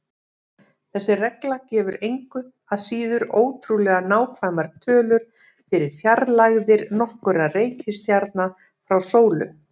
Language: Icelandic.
Þessi regla gefur engu að síður ótrúlega nákvæmar tölur fyrir fjarlægðir nokkurra reikistjarna frá sólu.